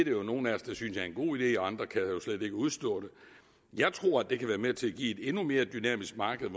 jo nogle af os der synes er en god idé og andre kan slet ikke udstå det jeg tror det kan være med til at give et endnu mere dynamisk marked